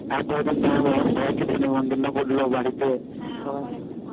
আর কত জন কে বললো নেমন্তন্ন করলো সবাইকে বাড়িতে হ্যাঁ আবার একটা